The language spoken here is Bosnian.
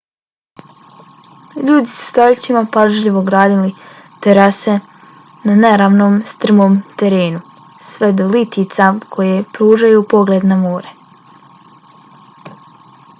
ljudi su stoljećima pažljivo gradili terase na neravnom strmom terenu sve do litica koje pružaju pogled na more